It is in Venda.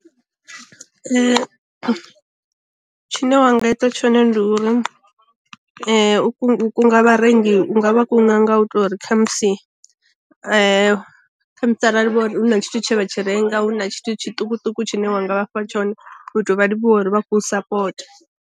Tshine wanga ita tshone ndi uri u kunga vharengi u nga vha kunga nga u tori u khamusi khamusi arali hu na tshithu tshe vha tshi renga hu na tshithu tshiṱukuṱuku tshine wanga vhafha tshone u tou vha livhuwa uri vha khou sapota.